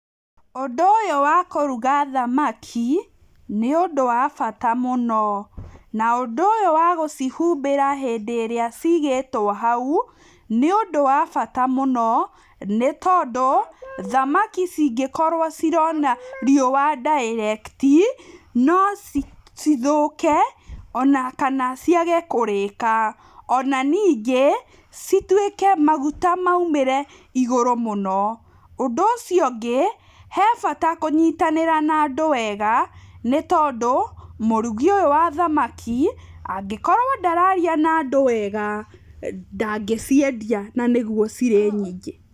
Ũndũ ũyũ wa kũruga thamaki, nĩ ũndũ wa bata mũno. Na ũndũ ũyũ wa gũcihumbĩra rĩrĩa ciigĩtwo hau nĩ ũndũ wa bata mũno nĩ tondũ, thamaki cingĩkorwo cirona riũa direct no cithũke, ona kana ciage kũrĩka. Ona ningĩ citwĩke maguta maũmĩre igũrũ mũno. Ũndũ ũcio ũngĩ hebata kũnyitanĩra na andũ wega nĩ tondũ mũrugi ũyũ wa thamaki angĩkorwo ndararia na andũ wega ndangĩciendia na nĩguo cirĩ nyingĩ.